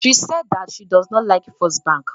She sais that she does not like First Bank